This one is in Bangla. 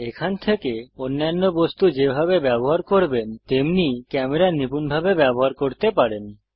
এখান থেকে অন্যান্য বস্তু যেভাবে ব্যবহার করবেন তেমনি ক্যামেরা নিপূণভাবে ব্যবহার করতে পারেন